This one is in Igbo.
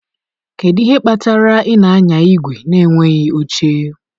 Kedu ihe kpatara ị na-anya igwe na-enweghị oche?